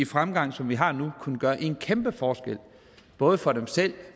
fremgang som vi har nu kunne gøre en kæmpe forskel både for dem selv